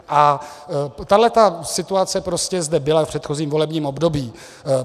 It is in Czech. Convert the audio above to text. A tahle situace prostě zde byla v předchozím volebním období.